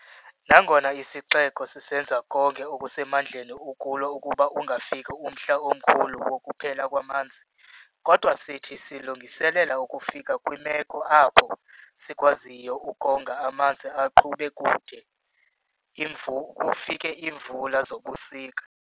Nangona isixeko sisenza konke okusemandleni ukulwa ukuba ungafiki omhla omkhulu wokuphela kwamanzi kodwa sithi silungiselela ukufika kwimeko apho sikwaziyo ukonga amanzi aqhube kude kufike iimvula zobusika.